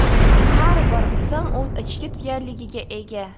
Har bir qism o‘z ichki tugalligiga ega.